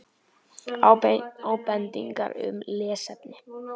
Ábendingar um lesefni: